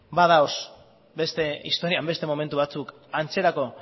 badaude historian beste momentu batzuk antzerako